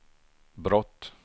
brott